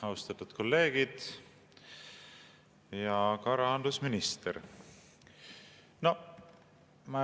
Austatud kolleegid ja ka rahandusminister!